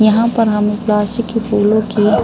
यहाँ पर हमें प्लास्टिक के फूलों की --